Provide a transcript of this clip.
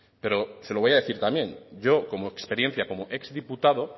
pero se lo voy a decir también yo como experiencia como exdiputado